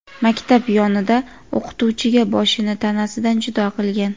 maktab yonida o‘qituvchiga boshini tanasidan judo qilgan.